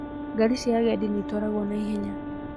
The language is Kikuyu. Ngari cia agendi niĩtwaragwo na ihenya